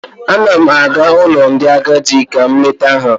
Ana m aga ụlọ ndị agadị ka m leta ha.